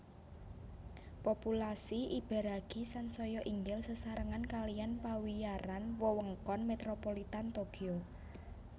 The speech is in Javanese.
Populasi Ibaraki sansaya inggil sesarengan kalihan pawiyaran Wewengkon Metropolitan Tokyo